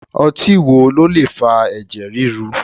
Ọtí wo ló lè fa ẹ̀jẹ̀ ríru?